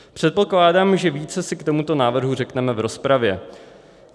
Předpokládám, že více si k tomuto návrhu řekneme v rozpravě.